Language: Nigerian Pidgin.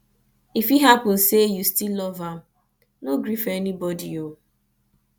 if e hapun sey yu stil luv am no gree for anybodi o